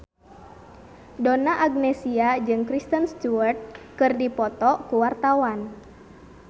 Donna Agnesia jeung Kristen Stewart keur dipoto ku wartawan